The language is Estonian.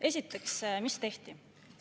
Esiteks, mis tehti?